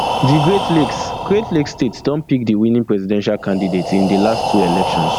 di great lakes great lakes state don pick di winning presidential candidate in di last two elections